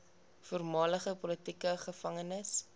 voormalige politieke gevangenes